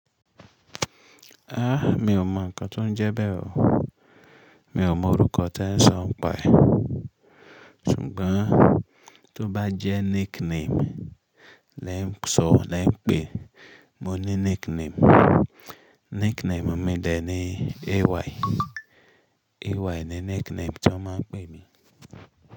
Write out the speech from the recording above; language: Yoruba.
A, mi ò mọ ǹkan tó ń jẹ bẹ́ẹ̀ o. Mi ò mọ orúkọ tẹ ń sọ̀ ń paẹ̀, ṣùgbọ́n tó bá jẹ́ nickname lẹ ń sọ̀ lẹ ń pè, mo ní nickname. Nickname mi de ní AY. AY ni nickname tí wọ́n máa ń pè mí.